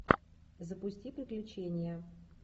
запусти приключения